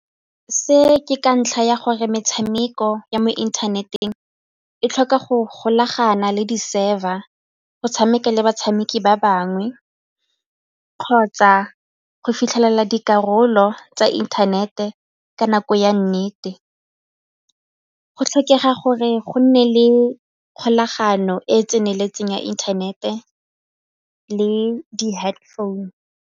Se ke ka ntlha ya gore metshameko ya mo inthaneteng e tlhoka go golagana le di-server go tshameka le batshameki ba bangwe kgotsa go fitlhelela dikarolo tsa internet-e ka nako ya nnete, go tlhokega gore go nne le kgolagano e e tseneletseng ya internet-e le di-head founu.